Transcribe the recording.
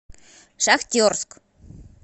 шахтерск